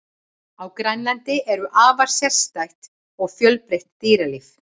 Á Grænlandi er afar sérstætt og fjölbreytt dýralíf.